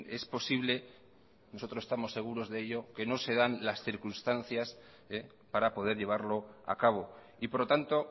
es posible nosotros estamos seguros de ello que no se dan las circunstancias para poder llevarlo a cabo y por lo tanto